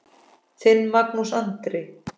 Þinn, Magnús Andri.